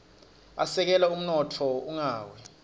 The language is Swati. asekela umnotfo ungawia